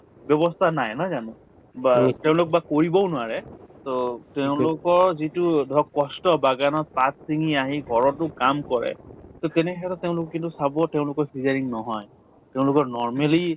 ব্যৱস্থা নাই নহয় জানো বা তেওঁলোক বা কৰিবও নোৱাৰে to তেওঁলোকৰ যিটো ধৰক কষ্ট বাগানত পাত ছিঙি আহি ঘৰতো কাম কৰে to তেনেকে তেওঁলোক কিন্তু চাব তেওঁলোকৰ cesarean নহয় তেওঁলোকৰ normally